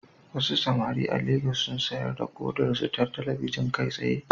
Wasu samari a Legas sun sayar da kodarsu ta talabijin kai tsaye